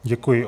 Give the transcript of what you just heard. Děkuji.